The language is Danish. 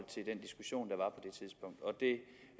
det